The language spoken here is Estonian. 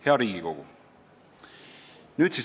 Hea Riigikogu!